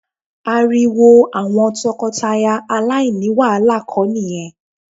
Ariwo àwọn tọkọtaya aláìní wàhálà kọ ni ìyẹn